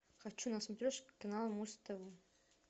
хочу на смотрешке канал муз тв